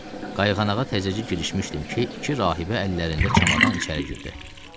Qayğanağa təzəcə girişmişdim ki, iki rahibə əllərində çamadan içəri girdi.